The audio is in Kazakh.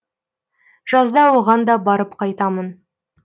жазда оған да барып қайтамын